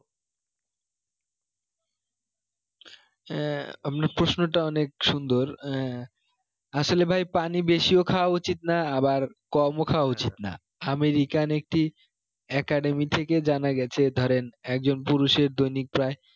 এ আপনার প্রশ্নটা অনেক সুন্দর এ আসলে ভাই পানি বেশিও খাওয়া উচিত না আবার কম ও খাওয়া উচিত না american একটি academy থেকে জানা গেছে ধরেন একজন পুরুষের দৈনিক প্রায়